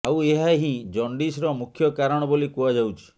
ଆଉ ଏହା ହିଁ ଜଣ୍ଡିସର ମୁଖ୍ୟ କାରଣ ବୋଲି କୁହାଯାଉଛି